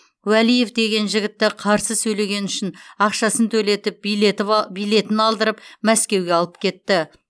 уәлиев деген жігітті қарсы сөйлегені үшін ақшасын төлетіп билетін алдырып мәскеуге алып кетті